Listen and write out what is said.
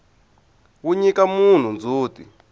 wu nyika munhu ndzhuti